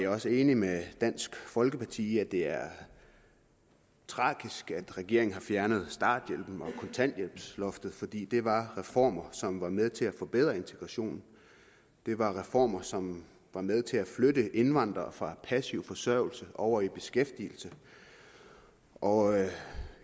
også enig med dansk folkeparti i at det er tragisk at regeringen har fjernet starthjælpen og kontanthjælpsloftet fordi det var reformer som var med til at forbedre integrationen det var reformer som var med til at flytte indvandrere fra passiv forsørgelse over i beskæftigelse og